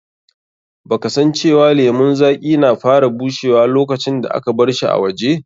Ba ka san cewa lemun zaƙi na fara bushewa lokacin da aka barshi a waje?